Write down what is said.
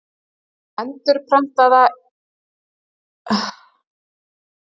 Endurprentað í bók Guðmundar Kjartanssonar: Fold og vötn.